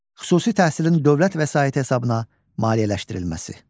Xüsusi təhsilin dövlət vəsaiti hesabına maliyyələşdirilməsi.